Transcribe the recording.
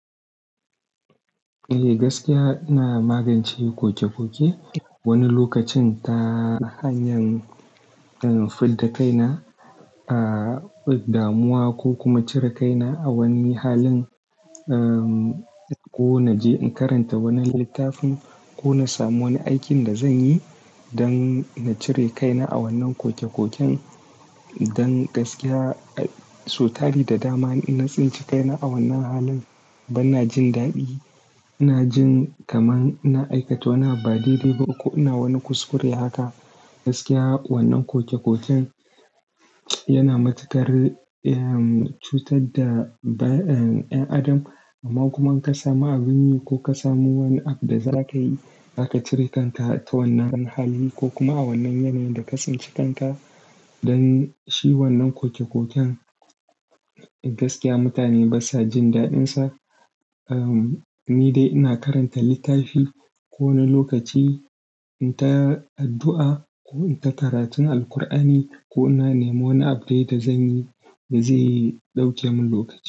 Eh, gaskiya ina magance koke-koke. Wani lokacin ta hanyan, um, fit da kaina, ah, damuwa ko kuma cire kaina a wani halin. Um, ko na je in karanta wani littafin ko na samu wani aikin da zan yi don na cire kaina a wannan koke-koken. Don gaskiya, so tari da dama ina tsinci kaina a wannan halin, ban na jin daɗi. Ina jin kaman ina aikata wani abu ba daidai ba ko ina wani kuskure haka. Gaskiya wannan koke-koken yana matakar, um, cutar da, um, 'yan adam. Amma kuma in ka samu abun yi ko ka samu wani app da za ka yi, za ka cire kanka ta wannan dan hali ko kuma a wannan yanayin da ka tsince kanka. Don shi wannan koke-koken gaskiya mutane basa jin daɗinsa. Um, ni dai ina karanta littafi ko wani lokaci in ta addu'a ko in ta karatun Alqur'ani ko ina nemo wani app dai da zan yi da zai ɗauke mun lokaci.